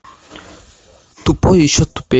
тупой и еще тупее